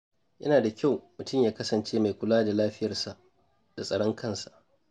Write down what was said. Yana da kyau mutum ya kasance mai kula da lafiyarsa da tsaron kansa.